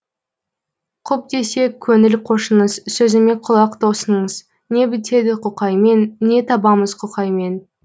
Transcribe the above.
құп десе көңіл қошыңыз сөзіме құлақ тосыңыз не бітеді құқаймен не табамыз құқаймен